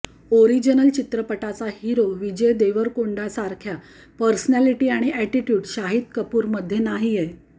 original चित्रपटाचा hero Vijay देवरकोंडासारख्या personality आणि अॅटीट्यूड शाहिद कपूरमध्ये नाहीये